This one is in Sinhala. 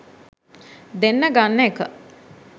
දෙන්න ගන්න එක